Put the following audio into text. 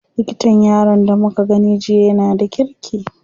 Likatan yaron da muka gani jiya yana da kirki.